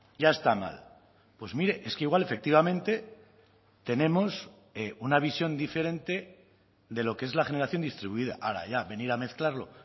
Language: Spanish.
ya está mal pues mire es que igual efectivamente tenemos una visión diferente de lo que es la generación distribuida ahora ya venir a mezclarlo